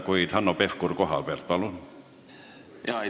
Kuid Hanno Pevkur kohalt, palun!